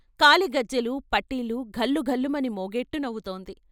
కాలిగజ్జెలు, పట్టీలు ఘల్లుఘల్లుమని మోగేట్టు నవ్వుతోంది.